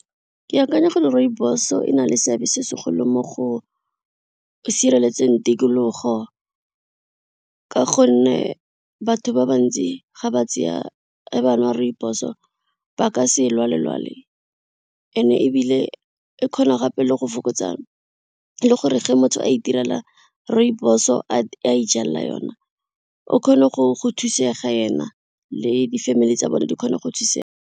Ke akanya gore rooibos e na le seabe se segolo mo go, sireletseng tikologo, ka gonne batho ba bantsi ga ba tseya ga ba nwa rooibos ba ka se lwale lwale and ebile e kgona gape le go fokotsa le gore ge motho a itirela rooibos o a ijalela yona o kgone go thusega ena le di-family tsa bone di kgone go thusega.